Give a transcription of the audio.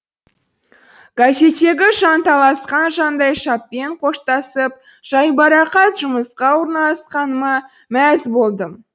газеттегі жанталасқан жандайшаппен қоштасып жайбарақат жұмысқа орналасқаныма мәз болдым